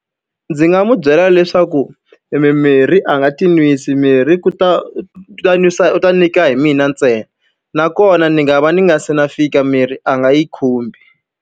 Ndzi nga n'wi byela leswaku e mimirhi a nga ti nwisi, mirhi ku ta u ta nwisa u ta nyika hi mina ntsena. Nakona ni nga va ni nga se na fika mirhi a nga yi khumbi.